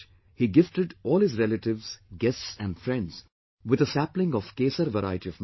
He gifted all his relatives, guests and friends with a sapling of 'Kesar' variety of mango